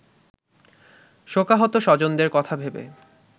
শোকাহত স্বজনদের কথা ভেবে